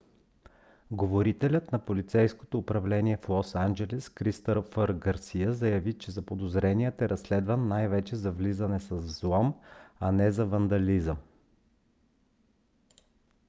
говорителят на полицейското управление в лос анджелис кристофър гарсия заяви че заподозреният е разследван най-вече за влизане с взлом а не за вандализъм